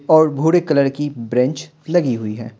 और भूरे कलर की बेंच लगी हुई है।